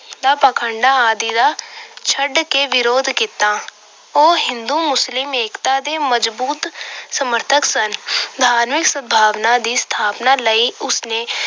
ਦਾ ਪਾਖੰਡਾਂ ਆਦਿ ਦਾ ਛੱਡ ਕੇ ਵਿਰੋਧ ਕੀਤਾ। ਉਹ ਹਿੰਦੂ ਮੁਸਲਿਮ ਏਕਤਾ ਦੇ ਮਜ਼ਬੂਤ ਸਮਰਥਕ ਸਨ। ਧਾਰਮਿਕ ਸਦਭਾਵਨਾ ਦੀ ਸਥਾਪਨਾ ਲਈ ਉਸ ਨੇ